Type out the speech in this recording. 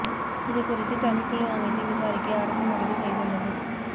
இது குறித்து தனிக்குழு அமைத்து விசாரிக்க அரசு முடிவு செய்துள்ளது